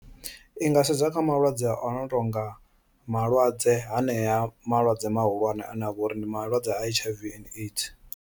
I nga sedza kha malwadze ono tonga malwadze hanea malwadze mahulwane ane avha uri ndi malwadze a H_I_V and AIDS.